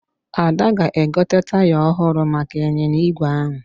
Ada ga-egote taya ọhụrụ maka ịnyịnya ígwè ahụ